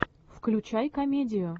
включай комедию